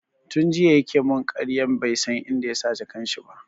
Tun jiya ya ke mun ƙaryan bai san inda yasa jakan shi ba